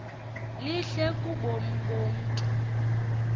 lihle kubomi bomntu